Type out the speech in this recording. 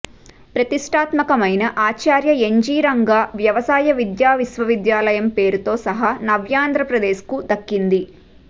ప్రతిష్ఠాత్మకమైన Acharya N G Ranga వ్యవసాయ విశ్వవిద్యాలయం పేరుతో సహా నవ్యాంధ్రప్రదేశ్కు దక్కింది